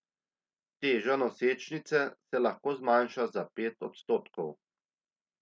Teža nosečnice se lahko zmanjša za pet odstotkov.